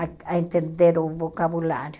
a a entender o vocabulário.